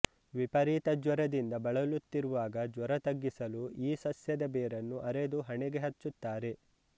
ವಿಪರೀತ ಜ್ವರದಿಂದ ಬಳಲುತ್ತಿರುವಾಗ ಜ್ವರ ತಗ್ಗಿಸಲು ಈ ಸಸ್ಯದ ಬೇರನ್ನು ಅರೆದು ಹಣೆಗೆ ಹಚ್ಚುತ್ತಾರೆ